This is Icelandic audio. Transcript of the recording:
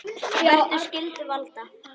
Verki skyldu valda